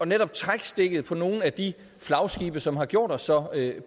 netop at trække stikket på nogle af de flagskibe som har gjort os så